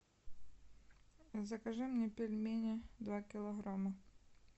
закажи мне пельмени два килограмма